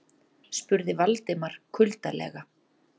spurði Valdimar kuldalega.